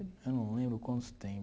Eu não lembro quanto tem